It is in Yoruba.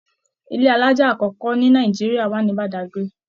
Ilé alájà akọkọ ní Nàìjíríà wa ni Badagry.